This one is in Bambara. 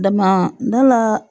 Dama da la